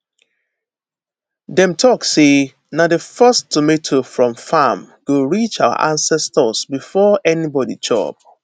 dem talk say na the first tomato from farm go reach our ancestors before anybody chop